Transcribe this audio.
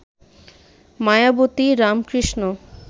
Mayawati Ramakrishna